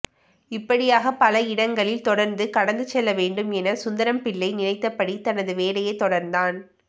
இப்படியாக பல இடங்களில் தொடர்ந்து கடந்து செல்ல வேண்டும் என சுந்தரம்பிள்ளை நினைத்தபடி தனது வேலையைத் தொடர்ந்தான்